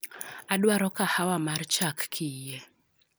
Adwaro kahawa mar chak kiyie